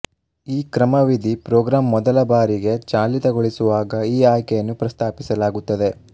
ಈ ಕ್ರಮವಿಧಿಪ್ರೋಗ್ರಾಂ ಮೊದಲ ಬಾರಿಗೆ ಚಾಲಿತಗೊಳಿಸುವಾಗ ಈ ಆಯ್ಕೆಯನ್ನು ಪ್ರಸ್ತಾಪಿಸಲಾಗುತ್ತದೆ